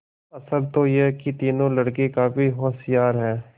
असल तो यह कि तीनों लड़के काफी होशियार हैं